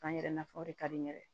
K'an yɛrɛ nafa o de ka di n ye dɛ